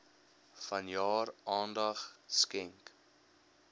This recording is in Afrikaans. vanjaar aandag skenk